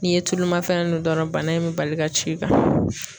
N'i ye tulu mafɛn dun dɔrɔn bana in bɛ bali ka ci i kan.